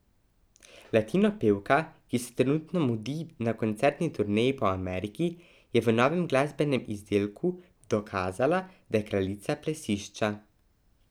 Latinopevka, ki se trenutno mudi na koncertni turneji po Ameriki, je v novem glasbenem izdelku dokazala, da je kraljica plesišča.